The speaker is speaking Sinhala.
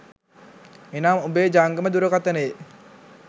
එනම් ඔබේ ජංගම දුරකථනයේ